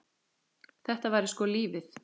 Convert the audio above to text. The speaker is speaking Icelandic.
Þetta væri sko lífið.